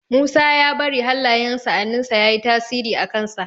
Musa ya bari hallayen sa'annin sa yayi tasiri a kan sa